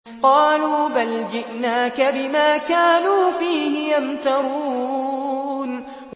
قَالُوا بَلْ جِئْنَاكَ بِمَا كَانُوا فِيهِ يَمْتَرُونَ